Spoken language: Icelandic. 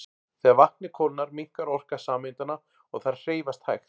Þegar vatnið kólnar minnkar orka sameindanna og þær hreyfast hægar.